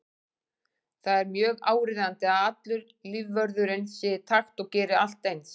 Það er mjög áríðandi að allur lífvörðurinn sé í takt og geri allt eins.